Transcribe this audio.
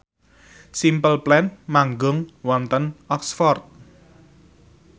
Simple Plan manggung wonten Oxford